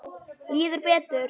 Líður betur.